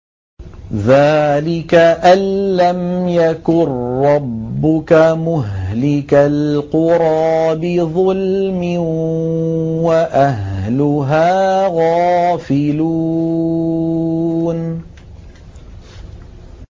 ذَٰلِكَ أَن لَّمْ يَكُن رَّبُّكَ مُهْلِكَ الْقُرَىٰ بِظُلْمٍ وَأَهْلُهَا غَافِلُونَ